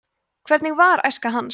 hvernig var æska hans